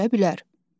Hazırlaya bilər.